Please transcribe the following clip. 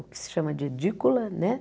O que se chama de edícula, né?